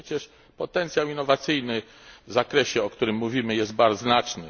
A przecież potencjał innowacyjny w zakresie, o którym mówimy, jest bardzo znaczny.